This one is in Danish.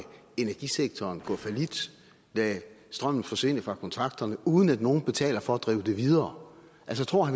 energisektoren gå fallit lade strømmen forsvinde fra kontakterne uden at nogen betaler for at drive det videre altså tror